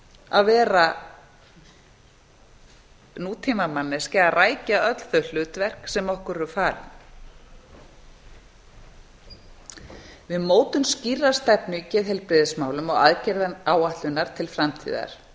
að vera nútímamanneskja að rækja öll þau hlutverk sem okkur eru falin við mótun skýrrar stefnu í geðheilbrigðismálum og aðgerðaáætlunar til framtíðar